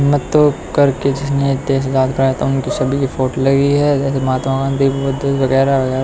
मैं तो करके जिसने देश उनकी सभी की फोटो लगी है जैसे महात्मा गांधी बुद्ध वगैरा वगैरा--